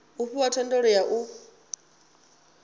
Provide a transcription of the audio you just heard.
u fhiwa thendelo ya u